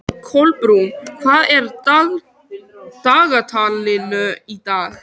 Kolbrún, hvað er í dagatalinu í dag?